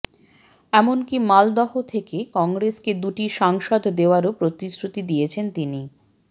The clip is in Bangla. এমনকি মালদহ থেকে কংগ্রেসকে দুটি সাংসদ দেওয়ারও প্রতিশ্রুতি দিয়েছেন তিনি